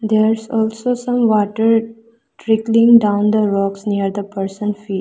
There is also some water trickling down the rocks near the person fee --